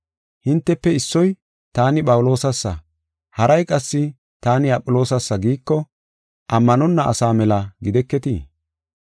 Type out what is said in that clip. Hintefe issoy, “Taani Phawuloosasa” haray qassi, “Taani Aphiloosasa” giiko, ammanonna asa mela gideketii?